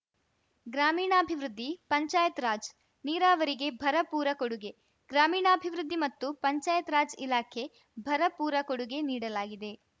ಗ್ರಾಮೀಣಾಭಿವೃದ್ಧಿಪಂಚಾಯತ್‌ ರಾಜ್‌ ನೀರಾವರಿಗೆ ಭರಪೂರ ಕೊಡುಗೆ ಗ್ರಾಮೀಣಾಭಿವೃದ್ಧಿ ಮತ್ತು ಪಂಚಾಯತ್‌ ರಾಜ್‌ ಇಲಾಖೆ ಭರಪೂರ ಕೊಡುಗೆ ನೀಡಲಾಗಿದೆ